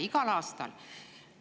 Igal aastal.